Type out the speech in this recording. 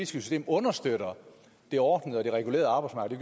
system understøtter det ordnede og det regulerede arbejdsmarked